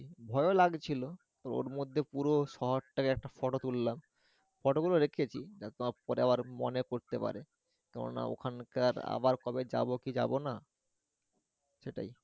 ভয়ও লাগছিলো তো ওর মধ্যে পুরো শহরটাকে একটা ফটো তুললাম photo গুলো রেখেছি একদম পরে আবার মনে পরতে পারে কেননা ওখনকার আবার কবে যাবো কি যাবো না সেটাই।